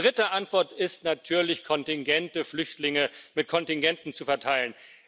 Und die dritte Antwort ist natürlich Kontingente Flüchtlinge mit Kontingenten zu verteilen.